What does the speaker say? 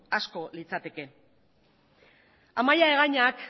asko litzateke amaia egañak